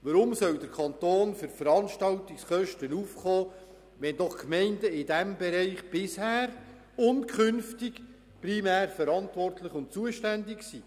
Weshalb soll der Kanton für Veranstaltungskosten aufkommen, wenn doch die Gemeinden in diesem Bereich bisher und künftig primär verantwortlich und zuständig sind?